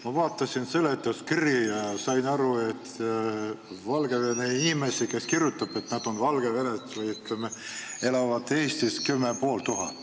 Ma vaatasin seletuskirja ja nägin, et Valgevene inimesi, kes elavad Eestis, on kümme ja pool tuhat.